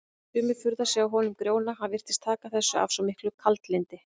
Sumir furðuðu sig á honum Grjóna, hann virtist taka þessu af svo miklu kaldlyndi.